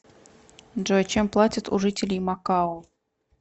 джой чем платят у жителей макао